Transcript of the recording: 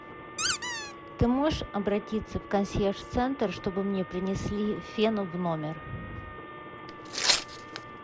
ты можешь обратиться в консьерж центр чтобы мне принесли фен в номер